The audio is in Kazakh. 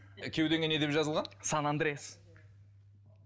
кеудеңе не деп жазылған сан андрес